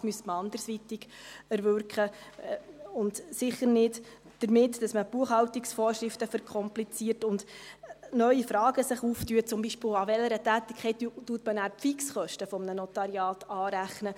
Das müsste man anderweitig erwirken, und sicher nicht damit, dass man die Buchhaltungsvorschriften verkompliziert und sich neue Fragen auftun, zum Beispiel, an welcher Tätigkeit man nachher die Fixkosten eines Notariats anrechnet.